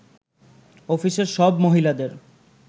অফিসের সব মহিলাদের